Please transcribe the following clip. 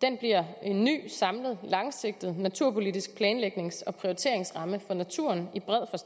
den bliver en ny samlet langsigtet naturpolitisk planlægnings og prioriteringsramme for naturen i